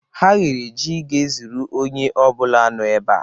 Ha ghere jí ga-ezuru onye ọ bụla nọ ebe a.